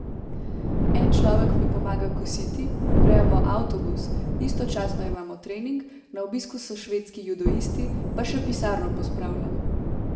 En človek mi pomaga kositi, urejamo avtobus, istočasno imamo trening, na obisku so švedski judoisti, pa še pisarno pospravljam.